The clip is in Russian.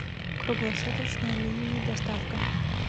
круглосуточная ли и доставка